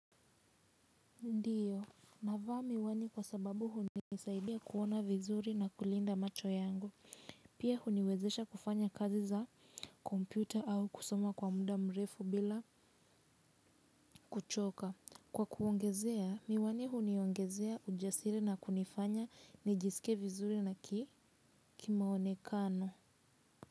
Ndiyo. Navaa miwani kwa sababu hunisaidia kuona vizuri na kulinda macho yangu. Pia huniwezesha kufanya kazi za kompyuta au kusoma kwa mda mrefu bila kuchoka. Kwa kwongezea, miwani huniongezea ujasire na kunifanya nijisikie vizuri na kimaonekano.